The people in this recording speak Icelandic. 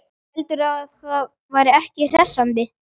Heldurðu að það væri ekki hressandi?